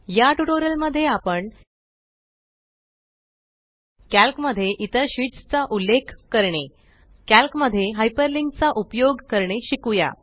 या ट्यूटोरियल मध्ये आपण कॅल्क मध्ये इतर शीट्स चा उल्लेख करणे कॅल्क मध्ये हयपर्लींक चा उपयोग करणे शिकुया